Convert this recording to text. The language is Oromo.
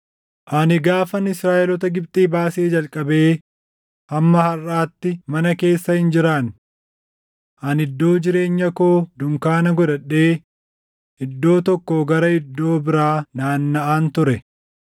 Ani gaafan Israaʼeloota Gibxii baasee jalqabee hamma harʼaatti mana keessa hin jiraanne. Ani iddoo jireenya koo dunkaana godhadhee iddoo tokkoo gara iddoo biraa naannaʼaan ture.